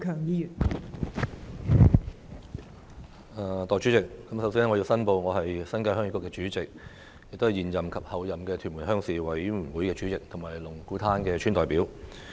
代理主席，首先我要申報，我是新界鄉議局主席，也是現任及候任屯門鄉事會主席和龍鼓灘的村代表。